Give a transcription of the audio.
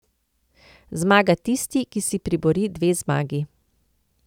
Zmaga tisti, ki si pribori dve zmagi.